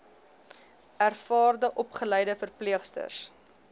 ervare opgeleide verpleegsters